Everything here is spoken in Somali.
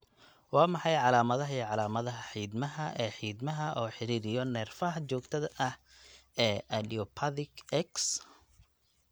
Waa maxay calamadaha iyo calamadaha xiidmaha ee xiidmaha oo xidhidhiyo neerfaha joogtada ah ee idiopathic X?